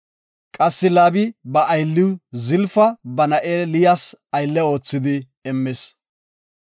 Qassi Laabi ba aylliw Zalafa ba na7e Liyas aylle oothidi immis.